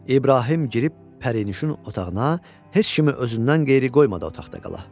İbrahim girib pərinüşün otağına, heç kimi özündən qeyri qoymadı otaqda qala.